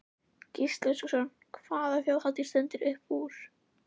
Gísli Óskarsson: Hvaða Þjóðhátíð stendur upp úr?